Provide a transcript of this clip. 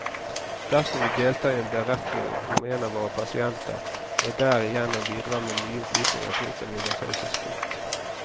Dersom vi deltar i en beretning om en av våre pasienter, og derigjennom bidrar med nye opplysninger, bryter vi vår taushetsplikt.